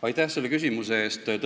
Aitäh selle küsimuse eest!